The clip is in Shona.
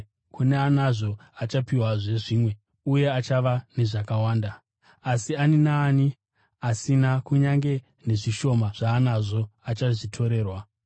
Kune anazvo achapiwazve zvimwe, uye achava nezvakawanda. Asi ani naani asina kunyange nezvishoma zvaanazvo achazvitorerwa.